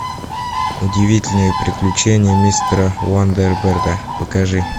удивительные приключения мистера уандерберда покажи